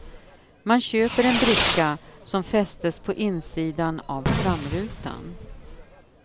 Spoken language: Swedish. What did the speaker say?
Man köper en bricka, som fästes på insidan av framrutan.